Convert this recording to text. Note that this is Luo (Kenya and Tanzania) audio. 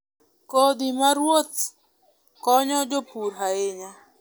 Kodhi ma ruoth konyo jopur ahinya.